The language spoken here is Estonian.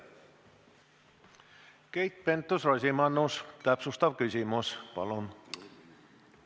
Keit Pentus-Rosimannus, täpsustav küsimus, palun!